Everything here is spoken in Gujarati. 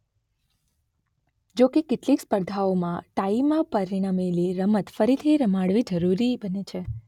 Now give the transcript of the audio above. જોકે કેટલીક સ્પર્ધાઓમાં ટાઇમાં પરિણમેલી રમત ફરીથી રમાડવી જરૂરી બને છે.